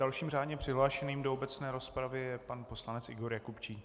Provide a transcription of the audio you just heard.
Dalším řádně přihlášeným do obecné rozpravy je pan poslanec Igor Jakubčík.